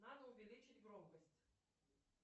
надо увеличить громкость